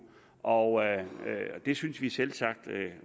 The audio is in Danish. og det synes vi selvsagt